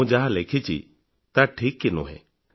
ମୁଁ ଯାହା ଲେଖିଛି ତାହା ଠିକ୍ କି ନୁହେଁ